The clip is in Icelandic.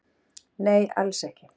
Nei alls ekki